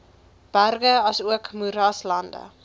berge asook moeraslande